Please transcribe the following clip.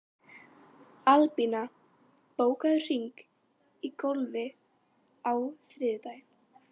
Albína, bókaðu hring í golf á þriðjudaginn.